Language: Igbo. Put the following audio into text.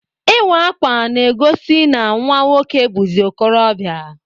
Ịwa akwa na egosi na nwa nwoke buzi ọkorobia.